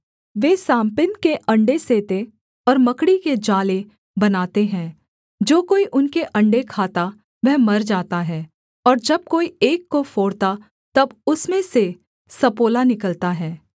वे साँपिन के अण्डे सेते और मकड़ी के जाले बनाते हैं जो कोई उनके अण्डे खाता वह मर जाता है और जब कोई एक को फोड़ता तब उसमें से सपोला निकलता है